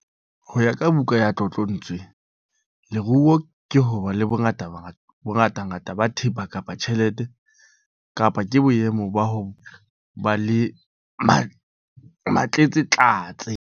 Ho ya ka buka ya tlotlontswe, leruo ke ho ba le bongatangata ba thepa kapa tjhelete kapa ke boemo ba ho ba le matletsatletse.